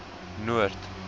noord